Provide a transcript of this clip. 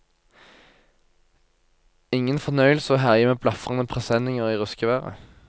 Ingen fornøyelse å herje med blafrende presenninger i ruskevær.